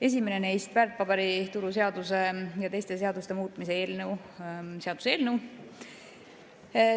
Esimene neist on väärtpaberituru seaduse teiste seaduste muutmise seaduse eelnõu.